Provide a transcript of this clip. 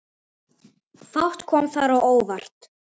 Fátt kom þar á óvart.